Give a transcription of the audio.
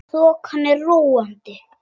Þokan er róandi